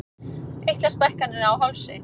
Eitlastækkanir á hálsi.